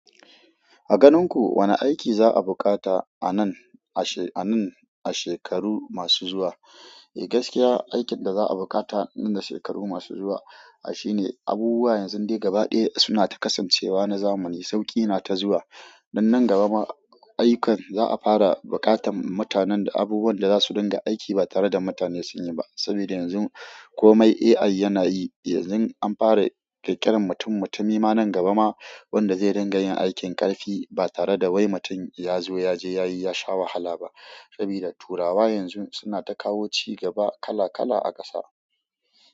A ganin ku wane aiki za a bukata a nan ashe, a nan, a shekaru masu zuwa? Eh gaskiya aikin da za a bukata nan da shekaru masu zuwa shi ne abubuwa yanzun dai gaba ɗaya suna ta kasancewa na zamani, sauƙi na ta zuwa. Dan nan gaba ma ayyukan za a fara buƙatan mutanen da abubuwan da za su dinga aiki ba tare da mutane sunyi ba. Sabida yanzun komai AI yana yi. Yanzun an fara ƙirƙiran mutummutumi ma nan gaba ma wanda zai dinga yin aikin ƙarfi ba tare da wai mutum ya zo ya je, yayi, yasha wahala ba. Sabida turawa yanzun suna ta kawo cigaba kala kala a ƙasa.